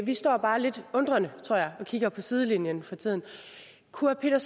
vi står bare lidt undrende tror jeg og kigger på fra sidelinjen for tiden kunne herre